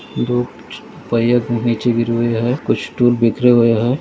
धूप पया नीचे गिरि हुई है कुछ स्टूल बिखरे हुए है।